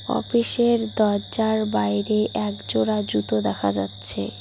অফিসের দরজার বাইরে একজোড়া জুতো দেখা যাচ্ছে।